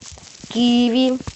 киви